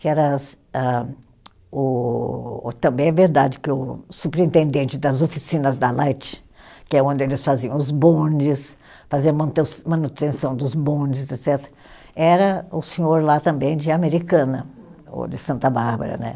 que era âh, o o. Também é verdade que o superintendente das oficinas da Light, que é onde eles faziam os bondes, faziam a manute manutenção dos bondes, etcetera., era o senhor lá também de Americana, ou de Santa Bárbara, né?